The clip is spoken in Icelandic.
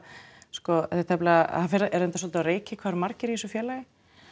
er reyndar svolítið á reiki hvað það eru margir í þessu félagi